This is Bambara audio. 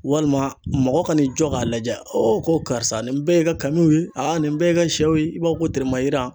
Walima mɔgɔ ka n'i jɔ k'a lajɛ ko karisa nin bɛɛ ye e ka kamiw ye a nin bɛɛ ye e ka shɛw ye i b'a fɔ ko teremayira.